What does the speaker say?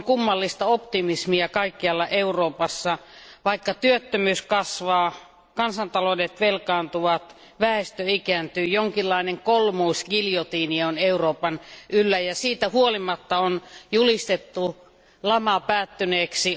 Esiintyy kummallista optimismia kaikkialla Euroopassa, vaikka työttömyys kasvaa, kansantaloudet velkaantuvat, väestö ikääntyy, jonkinlainen kolmoisgiljotiini on Euroopan yllä ja siitä huolimatta lama on julistettu päättyneeksi.